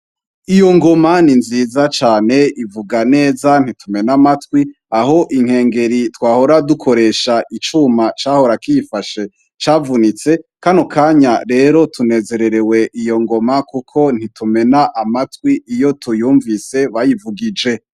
Iyo ngoma ni nziza cane ivuga neza ntitumena amatwi aho inkengeri twahora dukoresha icuma cahorakiyifashe cavunitse kano kanya rero tunezererewe iyo ngoma kuko ntitumena amatwi iyo tuyumvise bayivugije.